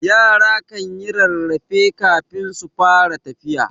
Yara kanyi rarrafe kafin su fara tafiya.